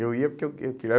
Eu ia porque eu que eu